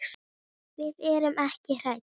Við erum ekki hrædd.